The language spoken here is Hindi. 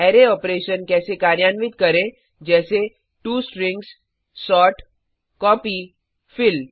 अरै ऑपरेशन्स कैसे कार्यान्वित करें जैसे टो stringsसोर्ट कॉपी फिल